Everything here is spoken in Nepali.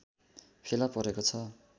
फेला परेको छ